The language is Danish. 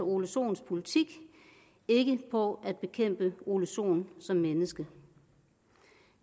ole sohns politik og ikke på at bekæmpe ole sohn som menneske